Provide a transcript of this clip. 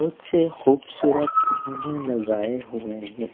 कुछ खूबसूरत फूलें लगाए हुए हैं।